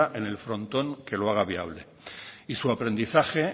en el frontón que lo haga viable y su aprendizaje